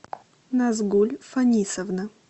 назгуль фанисовна